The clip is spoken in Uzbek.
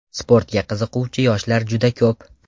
Sportga qiziquvchi yoshlar juda ko‘p.